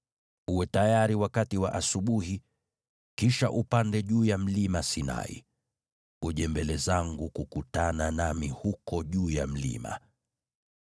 Uwe tayari asubuhi, kisha upande juu ya Mlima Sinai. Uje mbele zangu kukutana nami huko juu ya mlima.